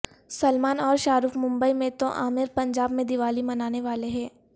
سلمان اور شاہ رخ ممبئی میں تو عامر پنجاب میں دیوالی منانے والے ہیں